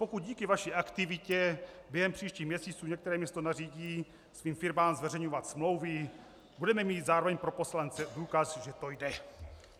Pokud díky vaší aktivitě během příštích měsíců některé město nařídí svým firmám zveřejňovat smlouvy, budeme mít zároveň pro poslance důkaz, že to jde."